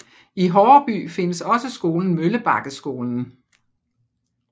I Horreby findes også skolen Møllebakkeskolen